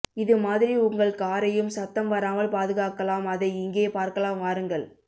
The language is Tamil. இது மாதிரி உங்கள் காரையும் சத்தம் வராமல் பாதுகாக்கலாம் அதை இங்கே பார்க்கலாம் வாருங்கள்